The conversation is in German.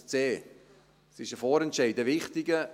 ein C. Es ist ein Vorentscheid, ein wichtiger.